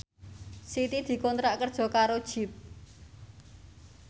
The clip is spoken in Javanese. Siti dikontrak kerja karo Jeep